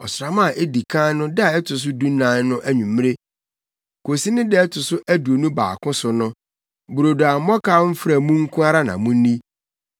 Ɔsram a edi kan no da a ɛto so dunan no anwummere kosi ne da a ɛto so aduonu baako so no, brodo a mmɔkaw mfra mu nko ara na munni.